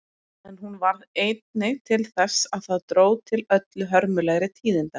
En hún varð einnig til þess að það dró til öllu hörmulegri tíðinda.